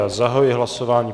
Já zahajuji hlasování.